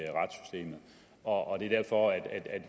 talen og